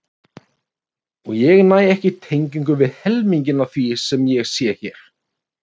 Og ég næ ekki tengingu við helminginn af því sem ég sé hér.